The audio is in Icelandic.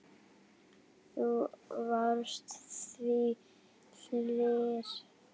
Þú varst svo hlýr.